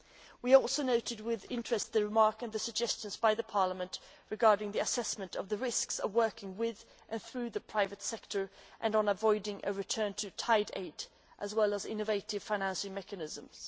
We also noted with interest the remark and the suggestions by Parliament regarding the assessment of the risks of working with and through the private sector and on avoiding a return to tied aid, as well as on innovative financing mechanisms.